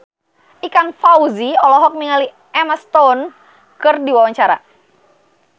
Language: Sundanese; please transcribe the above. Ikang Fawzi olohok ningali Emma Stone keur diwawancara